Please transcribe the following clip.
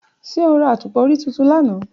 Ṣe o ra atupa ori tuntun lana?